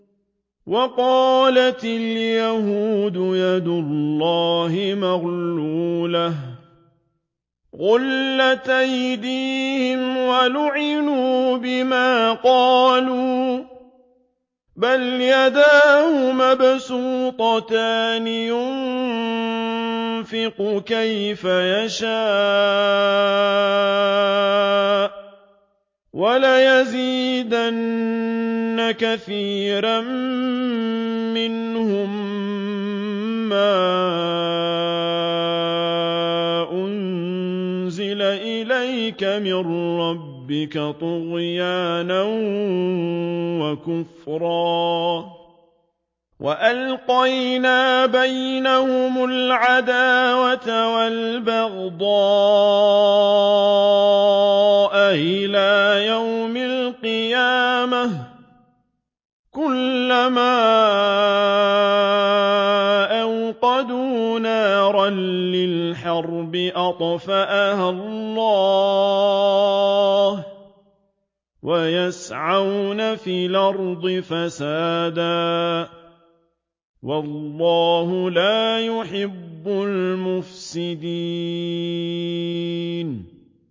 وَقَالَتِ الْيَهُودُ يَدُ اللَّهِ مَغْلُولَةٌ ۚ غُلَّتْ أَيْدِيهِمْ وَلُعِنُوا بِمَا قَالُوا ۘ بَلْ يَدَاهُ مَبْسُوطَتَانِ يُنفِقُ كَيْفَ يَشَاءُ ۚ وَلَيَزِيدَنَّ كَثِيرًا مِّنْهُم مَّا أُنزِلَ إِلَيْكَ مِن رَّبِّكَ طُغْيَانًا وَكُفْرًا ۚ وَأَلْقَيْنَا بَيْنَهُمُ الْعَدَاوَةَ وَالْبَغْضَاءَ إِلَىٰ يَوْمِ الْقِيَامَةِ ۚ كُلَّمَا أَوْقَدُوا نَارًا لِّلْحَرْبِ أَطْفَأَهَا اللَّهُ ۚ وَيَسْعَوْنَ فِي الْأَرْضِ فَسَادًا ۚ وَاللَّهُ لَا يُحِبُّ الْمُفْسِدِينَ